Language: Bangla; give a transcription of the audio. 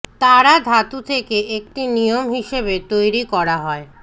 তারা ধাতু থেকে একটি নিয়ম হিসাবে তৈরি করা হয়